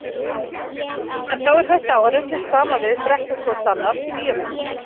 En þá er hætta á að ruglist saman við Brekkukotsannál bíómyndina.